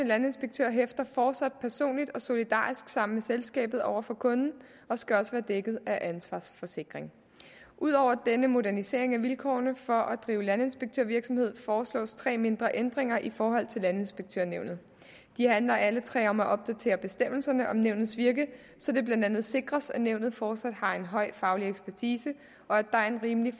landinspektør hæfter fortsat personligt og solidarisk sammen med selskabet over for kunden og skal også være dækket af en ansvarsforsikring ud over denne modernisering af vilkårene for at drive landinspektørvirksomhed foreslås tre mindre ændringer i forhold til landinspektørnævnet de handler alle tre om at opdatere bestemmelserne om nævnets virke så det blandt andet sikres at nævnet fortsat har en høj faglig ekspertise og at der er en rimelig